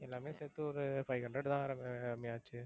எல்லாமே சேர்த்து ஒரு five hundred தான் ரம்ய~ ரம்யா ஆச்சு.